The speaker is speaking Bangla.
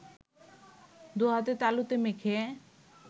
দুহাতের তালুতে মেখে